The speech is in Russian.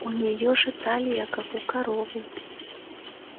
у нее же талия как у коровы